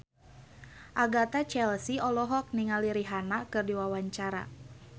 Agatha Chelsea olohok ningali Rihanna keur diwawancara